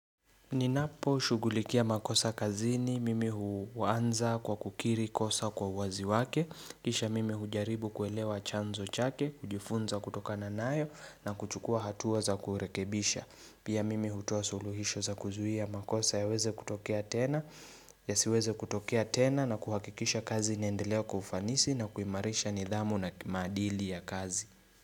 Ninaposhughulikia makosa kazini, mimi huanza kwa kukiri kosa kwa wazi wake, kisha mimi hujaribu kuelewa chanzo chake, kujifunza kutokana nayo na kuchukua hatua za kurekebisha. Pia mimi hutoa suluhisho za kuzuhia makosa yaweze kutokea tena, ya siweze kutokea tena na kuhakikisha kazi inaendelea kwa ufanisi na kuimarisha nidhamu na maadili ya kazi.